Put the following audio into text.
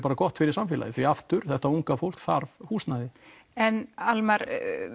gott fyrir samfélagið því þetta unga fólk þarf húsnæði en Almar